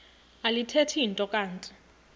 alithethi nto kanti